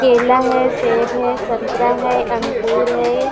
केला है सेब है संतरा है अंगुर है।